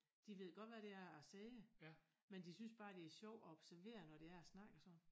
De ved godt hvad det er jeg siger men de synes bare det er sjovt at observere når det er jeg snakker sådan